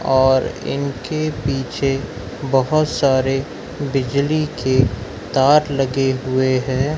और इनके पीछे बहुत सारे बिजली के तार लगे हुए हैं।